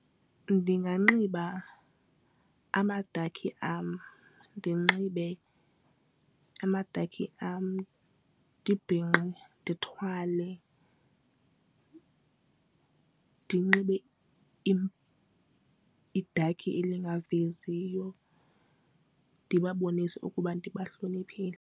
Ndinganxiba amadakhi am ndinxibe amadakhi am ndibhinqe ndithwale ndinxibe idakhi engaveziyo ndibabonise ukuba ndibahloniphile.